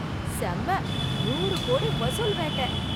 செம! நூறு கோடி வசூல் வேட்ட...